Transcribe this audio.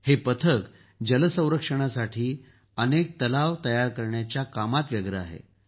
हे पथक जलसंरक्षणासाठी अनेक तलाव तयार करण्याच्या कामात व्यस्त आहे